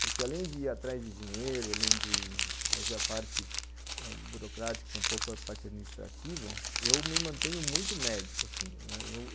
Porque além de ir atrás de dinheiro, além de fazer a parte burocrática, um pouco a parte administrativa, eu me mantenho muito médico, assim.